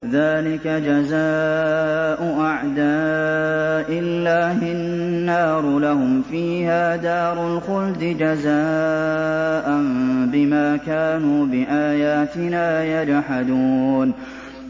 ذَٰلِكَ جَزَاءُ أَعْدَاءِ اللَّهِ النَّارُ ۖ لَهُمْ فِيهَا دَارُ الْخُلْدِ ۖ جَزَاءً بِمَا كَانُوا بِآيَاتِنَا يَجْحَدُونَ